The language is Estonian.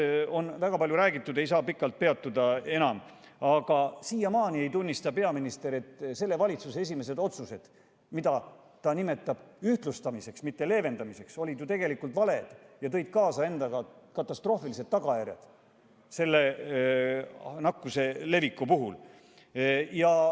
Sel teemal on väga palju räägitud, ei saa sellel enam pikalt peatuda, aga siiamaani ei tunnista peaminister, et selle valitsuse esimesed otsused, mida ta nimetab ühtlustamiseks, mitte leevendamiseks, olid ju tegelikult valed ja tõid kaasa katastroofilised tagajärjed nakkuse levikule.